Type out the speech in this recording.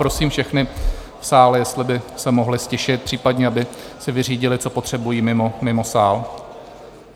Prosím všechny v sále, jestli by se mohli ztišit, případně aby si vyřídili, co potřebují, mimo sál.